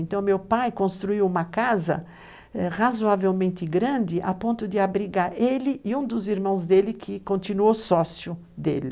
Então, meu pai construiu uma casa razoavelmente grande, a ponto de abrigar ele e um dos irmãos dele, que continua o sócio dele.